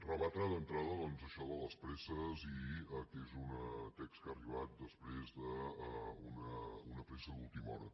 rebatre d’entrada això de les presses i que és un text que ha arribat després d’una pressa d’última hora